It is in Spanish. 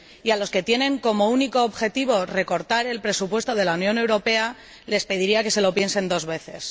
A los que tienen como único objetivo recortar el presupuesto de la Unión Europea, les pediría que se lo piensen dos veces.